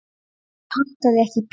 Ég pantaði ekki pítsu